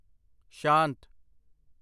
ਸ਼ਾਂਤ।